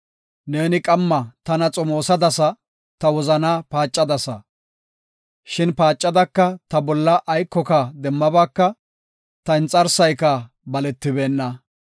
Neeni qamma tana xomoosadasa; ta wozanaa paacadasa. Shin paacadaka ta bolla aykoka demmabaaka; ta inxarsayka baletibeenna.